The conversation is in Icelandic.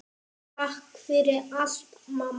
Takk fyrir allt, mamma.